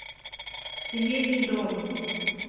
семейный дом